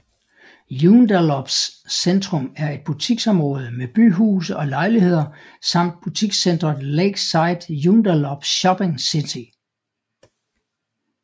Joondalups centrum er et butiksområde med byhuse og lejligheder samt butikscenteret Lakeside Joondalup Shopping City